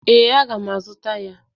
Ee, aga m azụta ya.